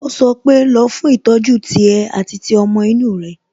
Ó sọ pé "Lọ fún ìtọ́jú tiẹ̀ àti ti ọmọ inú rẹ"